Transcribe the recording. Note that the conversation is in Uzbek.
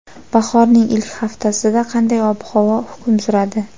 Bahorning ilk haftasida qanday ob-havo hukm suradi?.